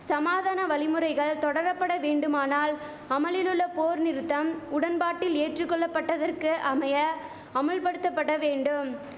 சமாதான வழிமுறைகள் தொடரபட வேண்டுமானால் அமலிலுள்ள போர் நிறுத்தம் உடன்பாட்டில் ஏற்றுகொள்ளபட்டதற்கு அமைய அமுல்படுத்தபட வேண்டும்